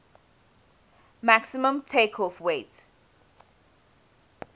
maximum takeoff weight